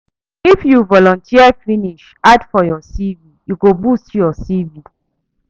If you volunteer finish add for your CV e go boost your CV